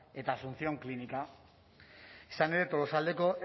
eta asuncion klinika izan ere tolosaldeko